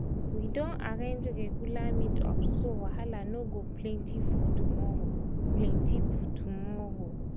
we don arrange regular meet-ups so wahala no go plenty for tomorrow. plenty for tomorrow.